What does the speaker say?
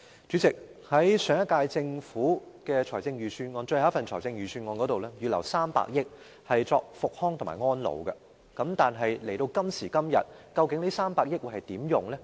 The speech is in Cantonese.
主席，上屆政府的最後一份財政預算案預留了300億元用作復康和安老，但現時這300億元究竟會如何運用？